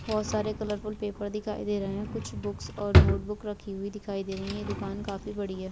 बहोत सारे colourful paper दिखाई दे रहे है कुछ बुक्स और नोटबुक रखी हुई दिखाई दे रही है दुकान काफी बड़ी है।